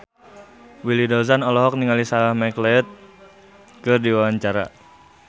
Willy Dozan olohok ningali Sarah McLeod keur diwawancara